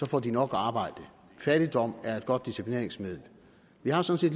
får de nok arbejde fattigdom er et godt disciplineringsmiddel vi har sådan